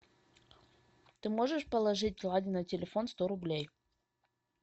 ты можешь положить ладе на телефон сто рублей